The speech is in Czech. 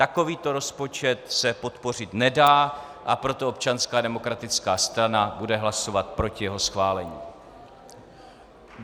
Takovýto rozpočet se podpořit nedá, a proto Občanská demokratická strana bude hlasovat proti jeho schválení.